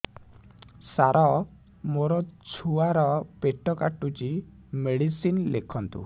ସାର ମୋର ଛୁଆ ର ପେଟ କାଟୁଚି ମେଡିସିନ ଲେଖନ୍ତୁ